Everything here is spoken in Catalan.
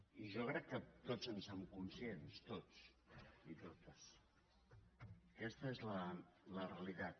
i jo crec que tots en som conscients tots i totes aquesta és la realitat